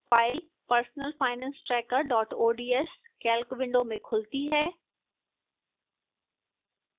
file personalfinancetracker ods calc window में खुलती है